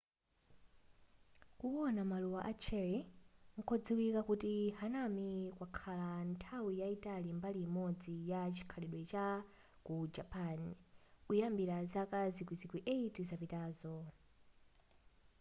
kuwona maluwa a cherry kodziwika kuti hanami kwakhala nthawi yayitali mbali imodzi ya chikhalidwe cha ku japan kuyambira zaka zikwizikwi 8 zapitazo